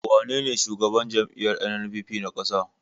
Wanene shugaban jam'iyyar NNPP na ƙasa?